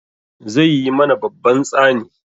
Zai yi mana babban tsani.